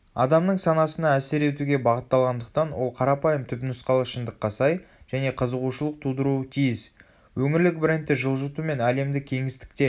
адамның санасына әсер етуге бағытталғандықтан ол қарапайым түпнұсқалы шындыққа сай және қызығушылық тудыруы тиіс.өңірлік брендті жылжыту мен әлемдік кеңістікте